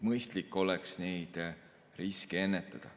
Mõistlik oleks neid riske ennetada.